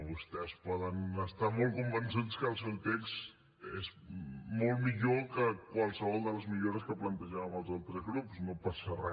vostès poden estar molt convençuts que el seu text és molt millor que qualsevol de les millores que plantejàvem els altres grups no passa re